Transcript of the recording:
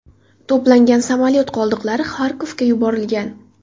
To‘plangan samolyot qoldiqlari Xarkovga yuborilgan.